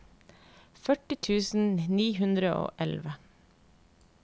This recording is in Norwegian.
førti tusen ni hundre og elleve